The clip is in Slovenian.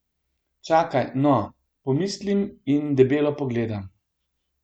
Čakaj, no, pomislim in debelo pogledam.